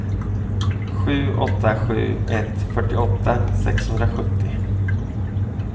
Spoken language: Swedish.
sju åtta sju ett fyrtioåtta sexhundrasjuttio